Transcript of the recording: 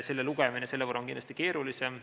Selle lugemine on selle võrra kindlasti keerulisem.